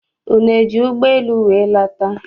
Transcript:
Unu eji ụgbọ elu wee lata?